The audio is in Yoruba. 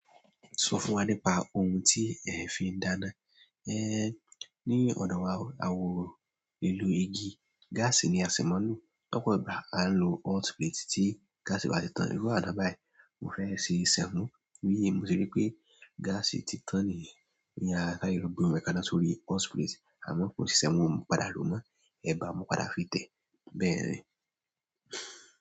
Sọ fún wa nípa ohun tí ẹ fi ń dáná. Eh, ní ọ̀dọ̀ wa, àwa ò ń lo igi, gáàsì ni asì máa ń lò. Lọ́pọ̀ ìgbà a ń lo hot plate tí gáàsì bá ti tán. Irú àná báyìí, mo fẹ́ ṣe sẹ̀mó, mo rí ye mo se rí pé gáàsì ti tán nìyẹn, mo ya sáré lọ gbómi yẹn kaná sórí hot plate. Àmọ́ kò ṣiṣẹ́ n ò, padà lòó mọ́, ẹ̀bà mo padà fi tẹ̀. Bẹ́ẹ̀ ni.